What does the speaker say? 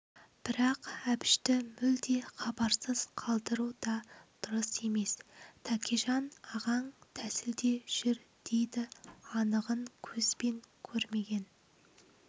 бірақ әбішті мүлде хабарсыз қалдыру да дұрыс емес тәкежан ағаң тәсілде жүр дейді анығын көзбен көрмеген